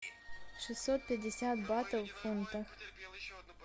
шестьсот пятьдесят батов в фунтах